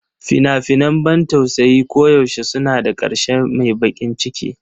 Fina-finan ban tausayi koyaushe suna da ƙarshe mai baƙin ciki.